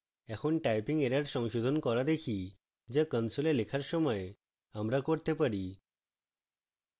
এখন typing errors সংশোধন করা দেখি যা console লেখার সময় আমরা করতে পারি